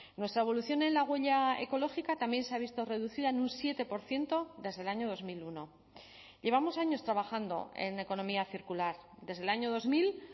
nuestra evolución en la huella ecológica también se ha visto reducida en un siete por ciento desde el año dos mil uno llevamos años trabajando en economía circular desde el año dos mil